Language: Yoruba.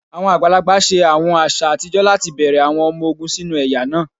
Awọn agbalagba ṣe awọn aṣa atijọ lati bẹrẹ awọn ọmọ ogun sinu ẹya naa.: